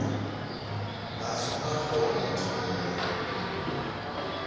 b tlhoka gore motho mongwe